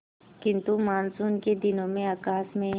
किंतु मानसून के दिनों में आकाश में